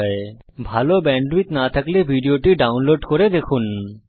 যদি ভাল ব্যান্ডউইডথ না থাকে তাহলে আপনি ভিডিওটি ডাউনলোড করে দেখতে পারেন